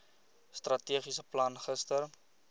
strategiese plan gister